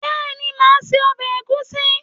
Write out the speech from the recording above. Béeni, máa se obè ègúsí